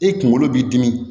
E kunkolo b'i dimi